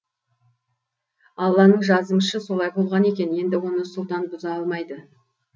алланың жазмышы солай болған екен енді оны сұлтан бұза алмайды